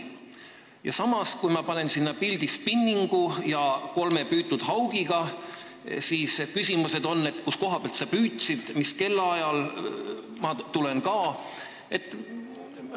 Samas, kui ma panen sinna pildi spinningu ja kolme püütud haugiga, siis tulevad küsimused, et kust kohast sa püüdsid ja mis kellaajal, ma tulen ka jne.